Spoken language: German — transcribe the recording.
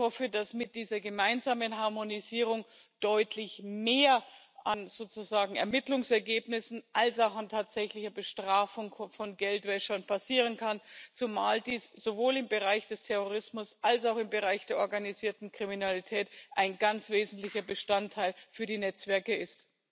Ich hoffe, dass mit dieser gemeinsamen Harmonisierung deutlich mehr an Ermittlungsergebnissen als auch an tatsächlicher Bestrafung von Geldwäschern passieren kann, zumal dies sowohl im Bereich des Terrorismus als auch im Bereich der organisierten Kriminalität ein ganz wesentlicher Bestandteil für die Netzwerke ist.